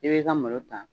I b'i ka malo ta